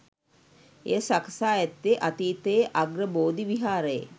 එය සකසා ඇත්තේ අතීතයේ අග්‍රබෝධි විහාරයේ